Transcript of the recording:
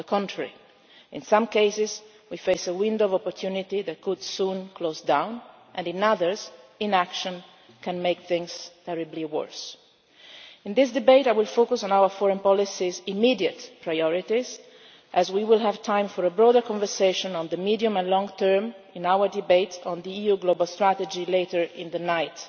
On the contrary, in some cases we face a window of opportunity that could soon close, and in others inaction can make things terribly worse. In this debate I will focus on the immediate priorities of our foreign policy, as we will have time for a broader conversation on the medium and long term in our debate on the EU global strategy later in the night.